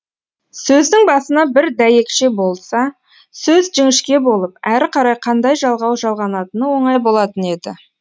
сөздің басына бір дәйекше болса сөз жіңішке болып әрі қарай қандай жалғау жалғанатыны оңай болатын еді